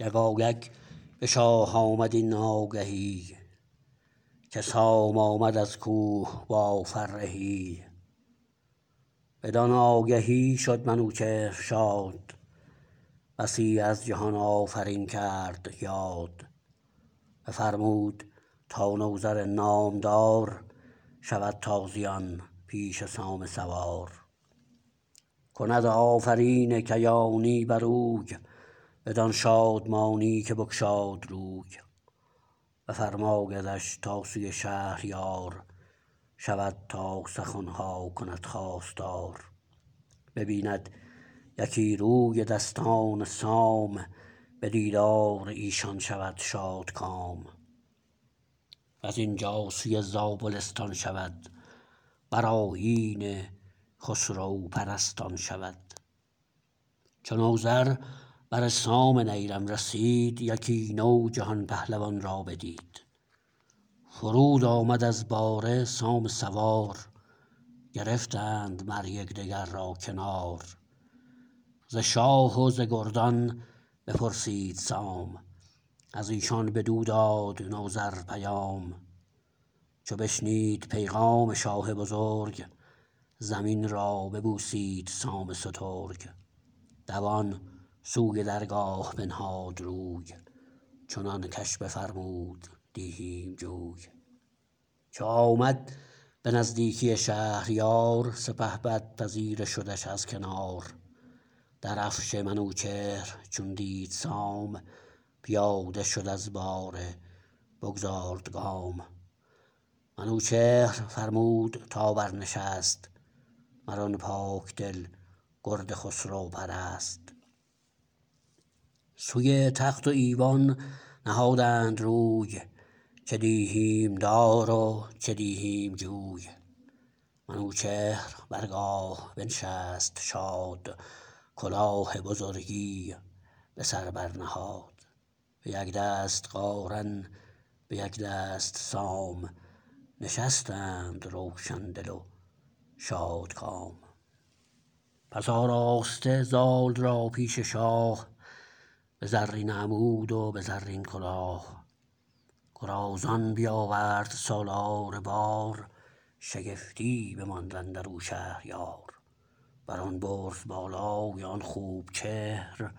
یکایک به شاه آمد این آگهی که سام آمد از کوه با فرهی بدان آگهی شد منوچهر شاد بسی از جهان آفرین کرد یاد بفرمود تا نوذر نامدار شود تازیان پیش سام سوار کند آفرین کیانی بر اوی بدان شادمانی که بگشاد روی بفرمایدش تا سوی شهریار شود تا سخن ها کند خواستار ببیند یکی روی دستان سام به دیدار ایشان شود شادکام و زین جا سوی زابلستان شود بر آیین خسرو پرستان شود چو نوذر بر سام نیرم رسید یکی نو جهان پهلوان را بدید فرود آمد از باره سام سوار گرفتند مر یک دگر را کنار ز شاه و ز گردان بپرسید سام از ایشان بدو داد نوذر پیام چو بشنید پیغام شاه بزرگ زمین را ببوسید سام سترگ دوان سوی درگاه بنهاد روی چنان کش بفرمود دیهیم جوی چو آمد به نزدیکی شهریار سپهبد پذیره شدش از کنار درفش منوچهر چون دید سام پیاده شد از باره بگذارد گام منوچهر فرمود تا برنشست مر آن پاک دل گرد خسرو پرست سوی تخت و ایوان نهادند روی چه دیهیم دار و چه دیهیم جوی منوچهر برگاه بنشست شاد کلاه بزرگی به سر برنهاد به یک دست قارن به یک دست سام نشستند روشن دل و شادکام پس آراسته زال را پیش شاه به زرین عمود و به رزین کلاه گرازان بیاورد سالار بار شگفتی بماند اندر او شهریار بر آن برز بالای آن خوب چهر